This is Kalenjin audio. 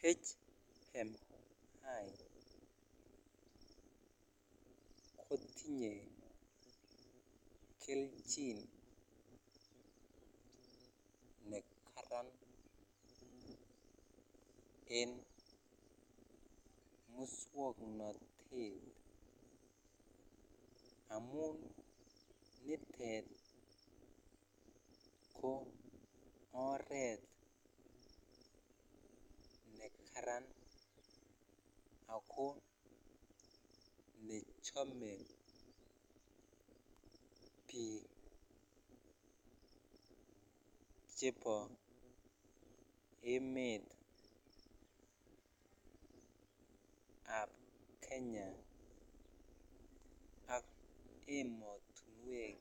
HMI kotinye kelchin nekaran en muswoknotet amun nitet ko oret nekaran ako chome biik chebo emet ab Kenya ak emotuwek